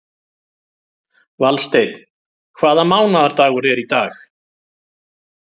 Valsteinn, hvaða mánaðardagur er í dag?